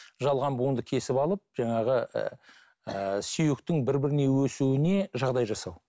жалған буынды кесіп алып жаңағы ыыы сүйектің бір біріне өсуіне жағдай жасау